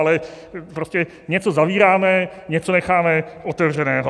Ale prostě něco zavíráme, něco necháme otevřeného.